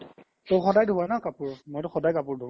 ত স্দাই ধুবা ন কাপোৰ মইতো স্দাই কাপোৰ ধু